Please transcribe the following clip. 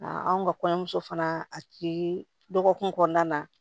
anw ka kɔɲɔmuso fana a ci dɔgɔkun kɔnɔna na